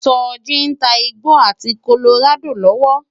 Soji n tá igbó áti kólórádó lòwò